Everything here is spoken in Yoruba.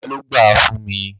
Bàbá ló gbáà fún mi.